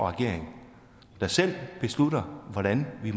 regering der selv beslutter hvordan vi